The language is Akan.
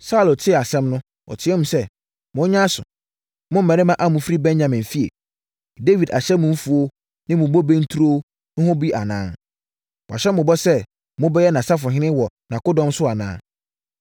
Saulo tee asɛm no, ɔteaam sɛ, “Monyɛ aso, mo mmarima a mofiri Benyamin fie! Dawid ahyɛ mo mfuo ne bobe nturo ho bɔ bi anaa? Wahyɛ mo bɔ sɛ mobɛyɛ nʼasafohene wɔ nʼakodɔm so anaa?